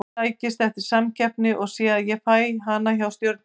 Ég sækist eftir samkeppni og sé að ég fæ hana hjá Stjörnunni.